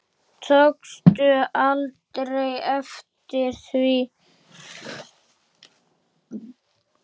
Tókstu aldrei eftir því?